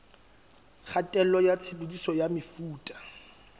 kgatello ya tshebediso ya mefuta